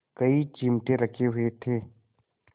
कई चिमटे रखे हुए थे